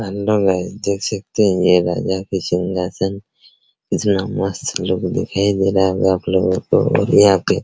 hello guys देख सकते है ये राजा की सिंघासन कितना मस्त लुक दिखाई दे रहा है आपलोगो को और यहाँ पे --